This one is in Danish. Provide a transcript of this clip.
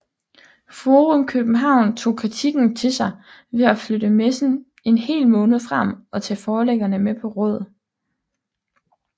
Forum København tog kritikken til sig ved at flytte messen en hel måned frem og tage forlæggerne med på råd